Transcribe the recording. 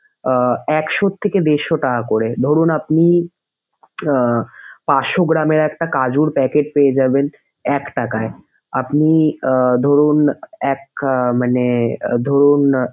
আহ একশো থেকে দেরশো টাকা করে। ধরুন আপনি আহ পাঁচশো গ্রামের একটি কাজুর packet পেয়ে যাবেন এক টাকায়। আপনি আহ ধরুন এক আহ মানে আহ ধরুন।